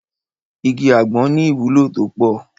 Igi àgbọn ní ìwúlò tó pọ̀.